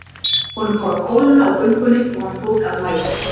Honum fór að kólna á göngunni og hann tók að mæðast.